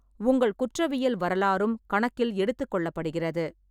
உங்கள் குற்றவியல் வரலாறும் கணக்கில் எடுத்துக் கொள்ளப்படுகிறது.